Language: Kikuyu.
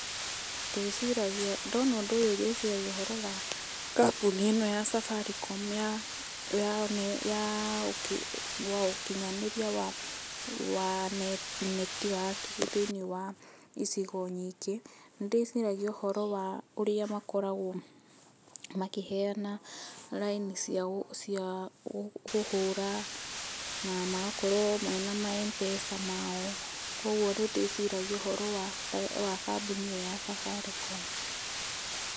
ndona ũndũ ũyũ ndĩciragia ũhoro wa kambũni ĩno ya safaricom ya ũkinyaneria wa network thĩinĩ wa ĩcigo nyingĩ. nĩndĩciragia ũhoro wa ũrĩa makoragwo makĩheana line cia kũhũra na magakorwo mena ma Mpesa mao. kogwo nĩndiciragia ũhoro wa kambũni ĩyo ya safaricom